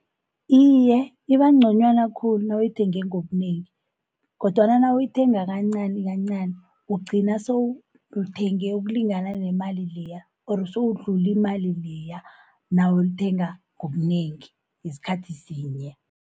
Iye ibagconywana khulu nawuyithenge ngobunengi, kodwana nawuyithenga kancanikancani ugcina sowulithenge ukulingana nemali leya or sowudluli imali leya nawulithenga ngobunengi ngesikhathi sinye.